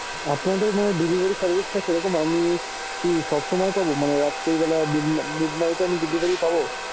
আপনাদের ওখানে delivery service টা কিরকম? আমি কি সবসময় পাবো? মানে রাত্রিবেলা mid night এ আমি delivery পাবো?